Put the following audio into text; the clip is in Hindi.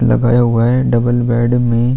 लगाया हुआ है डबल बेड में --